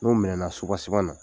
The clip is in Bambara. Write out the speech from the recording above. N'o minɛna na